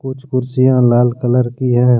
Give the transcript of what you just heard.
कुछ कुर्सियां लाल कलर की हैं।